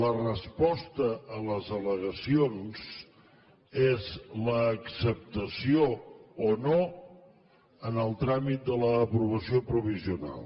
la resposta a les al·legacions és l’acceptació o no en el tràmit de l’aprovació provisional